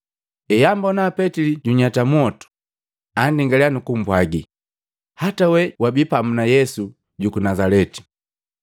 Ehambona Petili junyata mwotu, andingaliya nukumpwagi, “Hata wee wabii pamu na Yesu juku Nazaleti.”